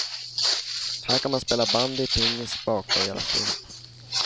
Här kan man spela bandy och pingis, baka och göra film.